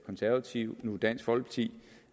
konservative og nu dansk folkeparti